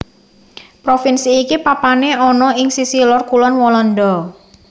Provinsi iki papané ana ing sisih lor kulon Walanda